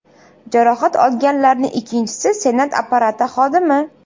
Jarohat olganlarning ikkinchisi Senat apparati xodimi.